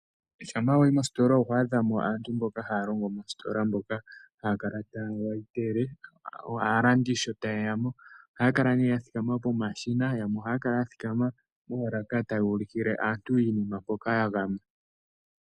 Shampa wayi mositola oho adha mo aantu mboka haya longo mositola mboka haya kala taya kwathele aalandi sho tayeya mo ohaya kala nee ya thikama pomashina yamwe ohaya kala ya thikama moolaka taya ulukile aantu iinima mpoka ya gama.